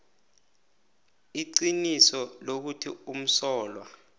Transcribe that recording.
iqiniso lokuthi umsolwa